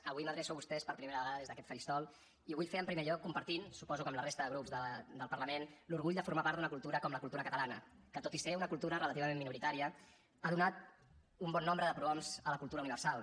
avui m’adreço a vostès per primera vegada des d’aquest faristol i ho vull fer en primer lloc compartint suposo que amb la resta de grups del parlament l’orgull de formar part d’una cultura com la cultura catalana que tot i ser una cultura relativament minoritària ha donat un bon nombre de prohoms a la cultura universal